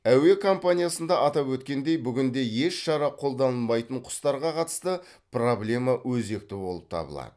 әуе компаниясында атап өткендей бүгінде еш шара қолданылмайтын құстарға қатысты проблема өзекті болып табылады